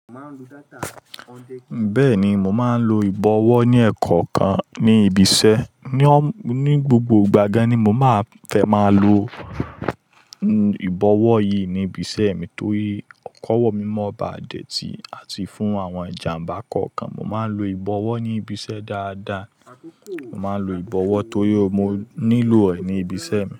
Bẹ́ẹ̀ni, mo máa ń lo ìbọ̀wọ́ ní ẹ̀kọ́ kan ní ibi iṣẹ́. Ni gbogbo ìgbà gáán ni mo máa fẹ́ máa lo ìbọ̀wọ́ yìí ní ibi iṣẹ́ mi torí kọ́wọ́ mímọ̀ ba dẹ̀ tí àti fún àwọn ìjàǹbá kọ̀ọ̀kan. Mo máa ń lo ìbọ̀wọ́ ní ibi iṣẹ́ dáadáa, mo máa ń lo ìbọ̀wọ́ torí mo nílò ẹ̀ ní ibi iṣẹ́ mi.